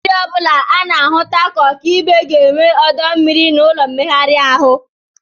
Ụlọ oriri ọ bụla a na-ahụta ka ọka ibe ga-enwe ọdọ mmiri nakwa ụlọ mmegharị ahụ